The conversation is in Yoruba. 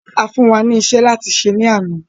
A fún wà ní ìṣẹ̀ láti ṣè lána.